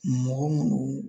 Mɔgɔ munnu